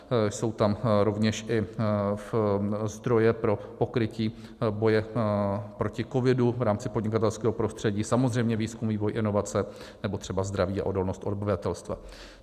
Jsou tam rovněž i zdroje pro pokrytí boje proti covidu v rámci podnikatelského prostředí, samozřejmě výzkum, vývoj, inovace nebo třeba zdraví a odolnost obyvatelstva.